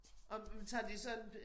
Og tager de så en